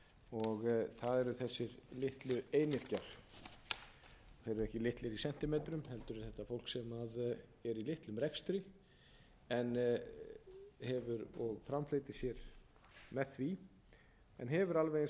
og það eru þessir litlu einyrkjar þeir eru ekki litlir í sentímetrum heldur er þetta fólk sem er í litlum rekstri en hefur og framfleytir sér með því en hefur alveg eins